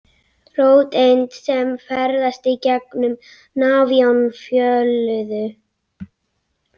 Róteind sem ferðast í gegn um nafion fjölliðu.